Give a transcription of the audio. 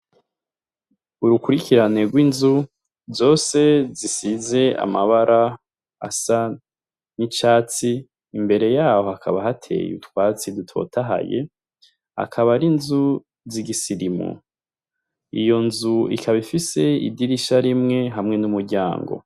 Urukurikirane rw'inzu zose zisize amabara asa n'icatsi, imbere yaho hakaba hateye utwatsi dutotahaye akaba ar'inzu zigisirimu, iyo nzu ikaba ifise idirisha rimwe hamwe n'umuryango.